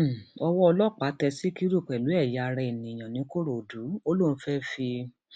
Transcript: um owó ọlọpàá tẹ síkírù pẹlú ẹyà ara èèyàn ńìkòròdú ó lóun fẹẹ fi